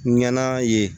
Ŋana ye